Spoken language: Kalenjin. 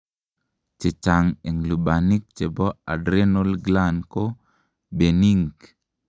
chechang en lubanik chebo adrenal gland ko benign